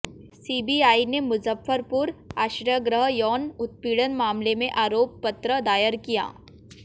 CBI ने मुजफ्फरपुर आश्रयगृह यौन उत्पीड़न मामले में आरोपपत्र दायर किया